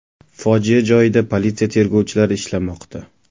Fojia joyida politsiya tergovchilari ishlamoqda.